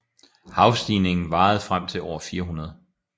Havstigningen varede frem til år 400